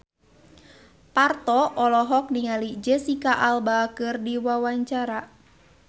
Parto olohok ningali Jesicca Alba keur diwawancara